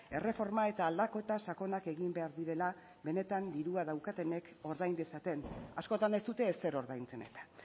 erreforma eta aldaketa sakonak egin behar direla benetan dirua daukatenek ordain dezaten askotan ez dute ezer ordaintzen eta